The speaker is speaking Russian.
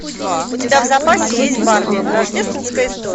у тебя в запасе есть барби рождественская история